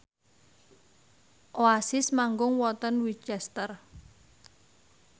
Oasis manggung wonten Winchester